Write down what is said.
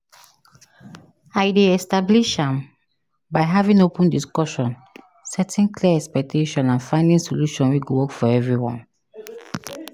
I dey establish am by having open discussion, setting clear expectation and finding solution wey go work for everyone.